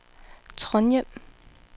Trondhjem